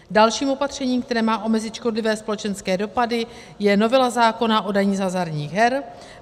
Dalším opatřením, které má omezit škodlivé společenské dopady, je novela zákona o dani z hazardních her.